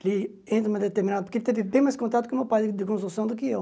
Que entre uma determinada... Porque ele teve bem mais contato com o meu pai de construção do que eu.